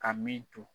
Ka min to